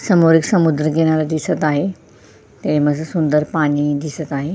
समोर एक समुद्र किनारा दिसत आहेत्याच्यामधे सुंदर पाणी दिसत आहे.